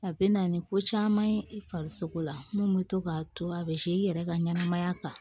A bɛ na ni ko caman ye i farisogo la minnu bɛ to k'a to a bɛ i yɛrɛ ka ɲɛnamaya kan